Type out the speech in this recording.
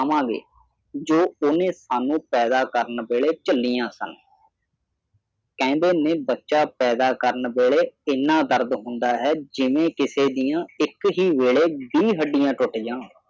ਕਵਾਂਗੇ ਜੋ ਉਹਨੇ ਸਾਨੂੰ ਪੈਦਾ ਕਰਨ ਵੇਲੇ ਝੱਲੀਆਂ ਸਨ। ਕਹਿੰਦੀ ਨੇ ਬੱਚਾ ਪੈਦਾ ਕਰਨ ਵੇਲੇ ਇੰਨਾ ਦਰਦ ਹੁੰਦਾ ਹੈ ਜਿਵੇਂ ਕਿਸੇ ਦੀਆਂ ਇਹ ਕਿਹੀ ਵੇਲੇ ਵੀਹ ਹੱਡੀਆਂ ਟੁੱਟ ਜਾਣ।